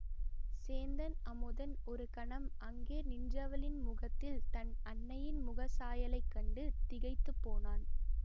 சேந்தன் அமுதன் ஒரு கணம் அங்கே நின்றவளின் முகத்தில் தன் அன்னையின் முகச் சாயலைக் கண்டு திகைத்து போனான்